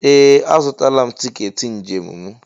Ee! Azụtala m tiketi njem m.